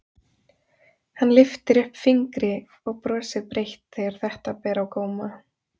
Hann lyftir upp fingri og brosir breitt þegar þetta ber á góma.